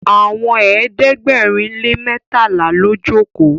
Àwọn ẹ̀ẹ́dẹ̀gbẹ̀rin lè mẹtala ló joko.